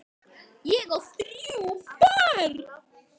Ég á þrjú börn.